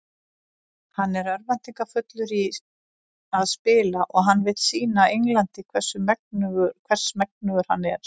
Hann er örvæntingarfullur í að spila og hann vill sýna Englandi hvers megnugur hann er.